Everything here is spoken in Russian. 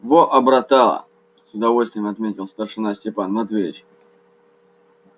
во обратала с удовольствием отметил старшина степан матвеевич